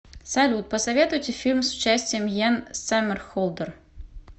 салют посоветуйте фильм с участием йен саммерхолдер